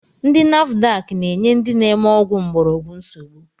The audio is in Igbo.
Ndi nafudak na-enye ndị na-eme ọgwụ mgborogwu nsogbu